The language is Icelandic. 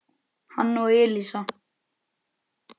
hann og Elísa.